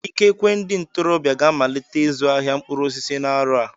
Ikekwe ndị ntorobịa ga-amalite ịzụ ahịa mkpụrụ osisi n'arọ a